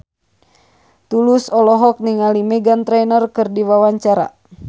Tulus olohok ningali Meghan Trainor keur diwawancara